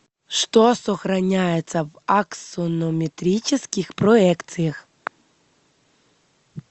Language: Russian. что сохраняется в аксонометрических проекциях